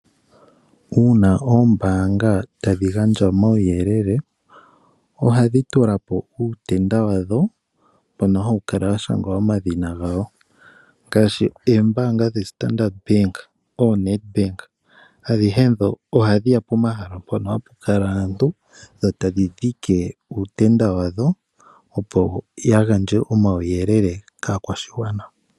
Uuna oombanga tadhi gandja omauyelele ohadhi tulapo uutenda wa dho mbono hawu kala wa shangwa omadhina gawo ngaashi oombanga dha Standard Bank noshowo Ned Bank ohadhi ya pomahala mpoka hapu kala aantu e tadhi dhike uutenda wadho opo ya gandje omauyelele kaakwashigwana.